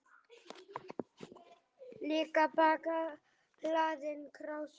Líka bakka hlaðinn krásum.